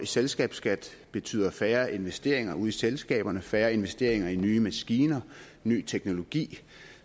selskabsskat betyder færre investeringer ude i selskaberne færre investeringer i nye maskiner og ny teknologi